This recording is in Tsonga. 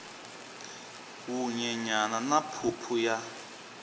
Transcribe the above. wu nyenyana na phuphu ya